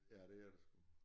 Ja det er der sgu